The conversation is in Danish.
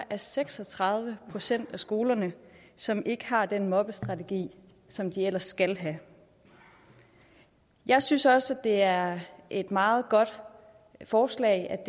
er seks og tredive procent af skolerne som ikke har den mobbestrategi som de ellers skal have jeg synes også at det er et meget godt forslag at